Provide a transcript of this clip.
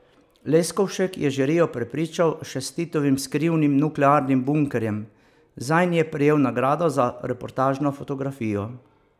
Leskovšek je žirijo prepričal še s Titovim skrivnim nuklearnim bunkerjem, zanj je prejel nagrado za reportažno fotografijo.